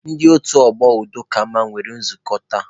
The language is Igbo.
Ndị otu ọgbọ udo ka mma nwere nzukọ tata.